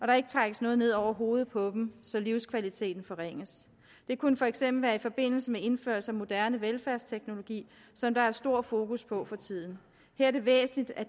der ikke trækkes noget ned over hovedet på dem så livskvaliteten forringes det kunne for eksempel være i forbindelse med indførelse af moderne velfærdsteknologi som der er stor fokus på for tiden her er det væsentligt at